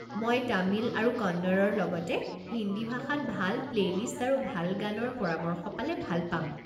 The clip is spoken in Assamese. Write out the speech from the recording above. মই তামিল আৰু কন্নড়ৰ লগতে হিন্দী ভাষাত ভাল প্লেইলিষ্ট আৰু ভাল গানৰ পৰামৰ্শ পালে ভাল পাম।